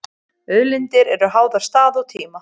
Auðlindir eru háðar stað og tíma.